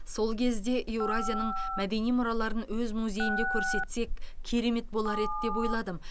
сол кезде еуразияның мәдени мұраларын өз музейімізде көрсетсек керемет болар еді деп ойладым